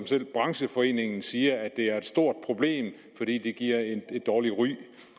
selv brancheforeningen siger at det er et stort problem fordi det giver et dårligt ry